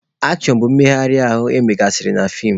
Akshọn bụ mmegharị ahụ emegasịrị na feem.